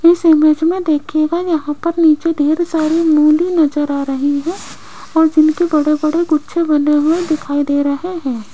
इस इमेज में देखिएगा यहाँ पर नीचे ढेर सारी मूली नजर आ रही है और जिनके बड़े बड़े गुच्छे बंने हुए दिखाई दे रहे हैं।